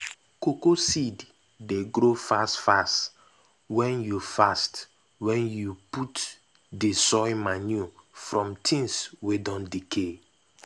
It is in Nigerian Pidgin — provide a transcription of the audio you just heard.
cocoa seed dey grow fast fast wen you fast wen you put d soil manure from things wey don decay.